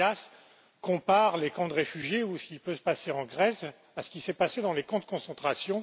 Marias compare les camps de réfugiés, ou ce qui peut se passer en Grèce, à ce qui s'est passé dans les camps de concentration.